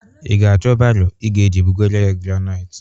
Ị ga-achọ baro ị ga-eji bụgara ya graniti?